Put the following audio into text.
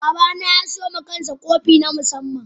Baba na ya siyo wa kansa kofi na musamman.